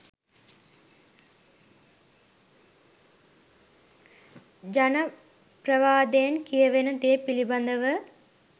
ජන ප්‍රවාදයෙන් කියවෙන දේ පිළිබඳව